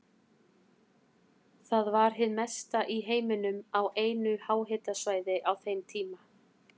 Það var hið mesta í heiminum á einu háhitasvæði á þeim tíma.